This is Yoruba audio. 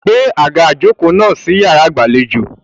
Gbé àga ìjokòó náà sí yàrá ìgbàlejò.